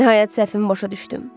Nəhayət səhvimi başa düşdüm.